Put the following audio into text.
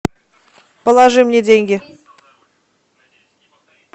положи мне деньги